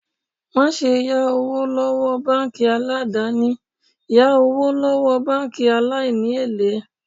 Má ṣe yá owó lọ́wọ́ báńkì aládàni, yá owó lọ́wọ́ báńkì aláìní èlé.